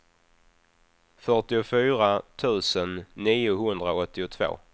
fyrtiofyra tusen niohundraåttiotvå